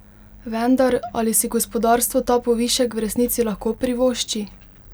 Vendar, ali si gospodarstvo ta povišek v resnici lahko privošči?